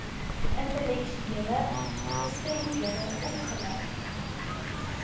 intellektuele gestremdhede opgelei